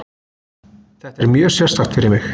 Þetta er mjög sérstakt fyrir mig.